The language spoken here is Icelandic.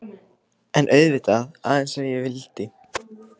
En auðvitað,- aðeins ef ég vildi.